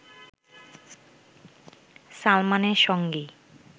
সালমানের সঙ্গেই